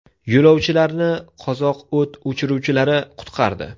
Yo‘lovchilarni qozoq o‘t o‘chiruvchilari qutqardi.